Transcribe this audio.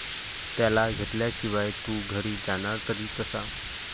त्याला घेतल्याशिवाय तू घरी जाणार तरी कसा?